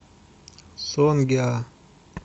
сонгеа